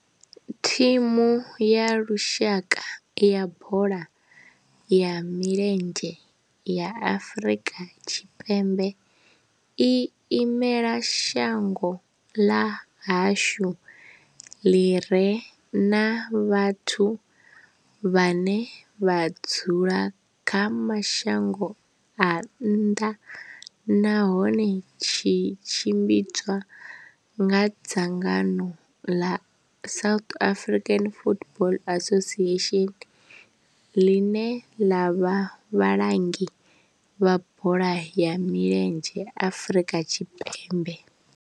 Thimu ya lushaka ya bola ya milenzhe ya Afrika Tshipembe i imela shango ḽa hashu ḽi re na vhathu vhane vha dzula kha mashango a nnḓa nahone tshi tshimbidzwa nga dzangano ḽa South African Football Association, ḽine ḽa vha vhalangi vha bola ya milenzhe Afrika Tshipembe.